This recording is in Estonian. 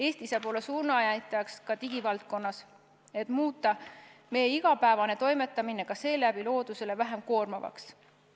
Eesti saab olla suunanäitajaks ka digivaldkonnas, et muuta meie igapäevane toimetamine ka seeläbi loodusele vähem koormavaks.